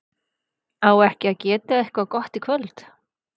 á ekki að geta eitthvað í kvöld?